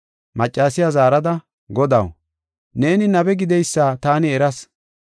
Maccasiya zaarada, “Godaw, neeni nabe gideysa taani eras.